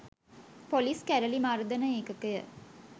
police කැරළි මර්දන ඒකකය